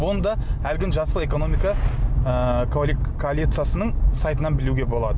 онда әлгіні жасыл экономика ыыы коалициясының сайтынан білуге болады